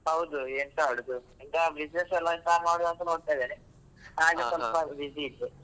ಹೌದು ಎಂತ ಮಾಡುದು ಎಂತ business ಎಲ್ಲಾ ಎಂತ ಮಾಡುವಾಂತ ನೋಡ್ತಾ ಇದ್ದೇನೆ ಹಾಗೆ ಸ್ವಲ್ಪ busy ಇದ್ದೆ